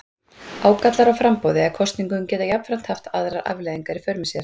Ágallar á framboði eða kosningum geta jafnframt haft aðrar afleiðingar í för með sér.